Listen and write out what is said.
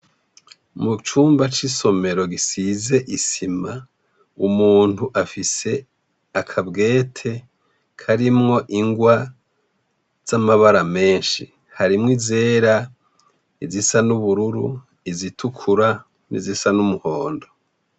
Mu cumba c'isomero gisize isima, umuntu afise akabwete karimwo ingwa z'amabara menshi harimwo izera, izisa n'ubururu, izitukura nizisa n'umuhondo.